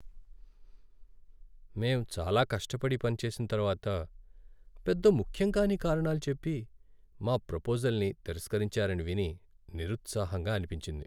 మేం చాలా కష్టపడి పనిచేసిన తర్వాత పెద్ద ముఖ్యం కాని కారణాలు చెప్పి మా ప్రపోజల్ని తిరస్కరించారని విని నిరుత్సాహంగా అనిపించింది.